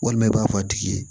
Walima i b'a fɔ a tigi ye